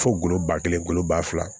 Fo golo ba kelen golo ba fila